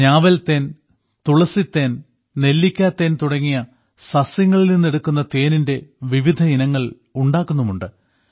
ഞാവൽ തേൻ തുളസി തേൻ നെല്ലിക്ക തേൻ തുടങ്ങിയ സസ്യങ്ങളിൽ നിന്ന് എടുക്കുന്ന തേനിന്റെ വിവിധ ഇനങ്ങൾ ഉണ്ടാക്കുന്നുമുണ്ട്